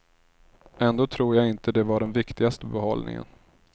Ändå tror jag inte det var den viktigaste behållningen.